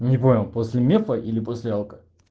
не понял после мефа или после алко